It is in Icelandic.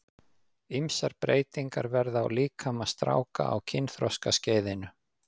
Ýmsar breytingar verða á líkama stráka á kynþroskaskeiðinu.